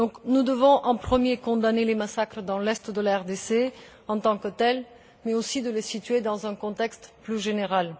Nous devons, en premier lieu, condamner les massacres dans l'est de la RDC en tant que tels, mais aussi les situer dans un contexte plus général.